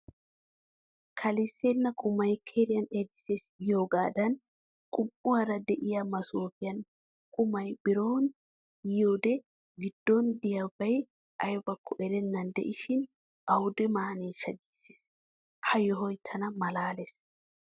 "Kalissana qumay keriyan erisses" giyoogaadan qum"uwaara de"iya masoofiyan qumay biron yiyoodee giddon diyaabay aybakko erennan de"ishin awude maaneshsha giisses. Ha yohoy tana malaales.